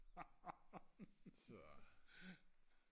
så